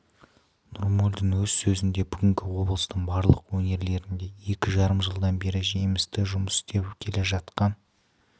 нұрмолдин өз сөзінде бүгінде облыстың барлық өңірлерінде екі жарым жылдан бері жемісті жұмыс істеп келе жатқан